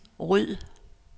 ryd